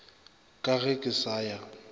ka ge ke sa ya